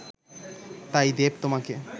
তাই দেব তোমাকে